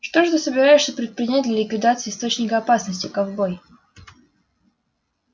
что же ты собираешься предпринять для ликвидации источника опасности ковбой